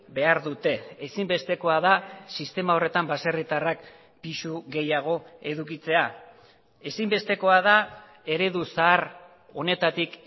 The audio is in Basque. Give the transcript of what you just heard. behar dute ezinbestekoa da sistema horretan baserritarrak pisu gehiago edukitzea ezinbestekoa da eredu zahar honetatik